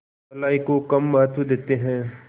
भलाई को कम महत्व देते हैं